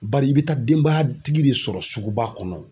Bari i be taa denbaya tigi de sɔrɔ suguba kɔnɔ